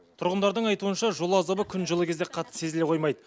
тұрғындардың айтуынша жол азабы күн жылы кезде қатты сезіле қоймайды